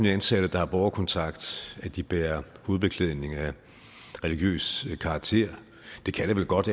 ansatte der har borgerkontakt at de bærer hovedbeklædning af religiøs karakter det kan det vel godt